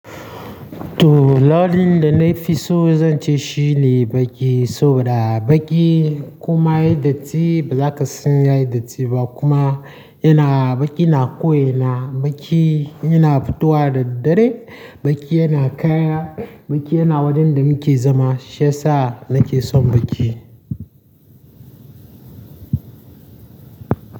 To, launin da na fi so zan ce shi ne baƙi, saboda baƙi koma yayi datti ba za ka san yayi datti ba kuma yana baƙi yana ko ina, baƙi yana fitowa da dare, baƙi yana kaya, baƙi yana wajen da muke zama. Shi yasa nake son baƙi.